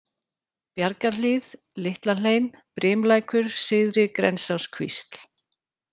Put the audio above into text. Bjargarhlíð, Litla-Hlein, Brimlækur, Syðri-Grensáskvísl